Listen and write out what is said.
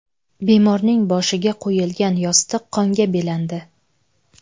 Bemorning boshiga qo‘yilgan yostiq qonga belandi.